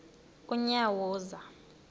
unyawuza